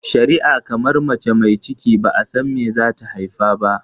shari'a kamar mace mai cikine ba'a san me zata haifa ba.